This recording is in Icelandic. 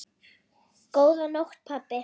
Góða nótt, pabbi.